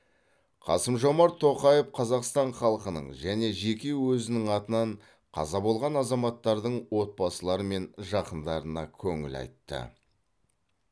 қасым жомарт тоқаев қазақстан халқының және жеке өзінің атынан қаза болған азаматтардың отбасылары мен жақындарына көңіл айтты